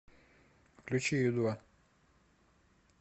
включи ю два